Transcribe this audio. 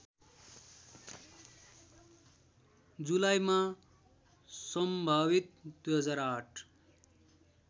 जुलाईमा सम्भावित २००८